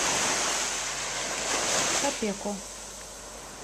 шапеко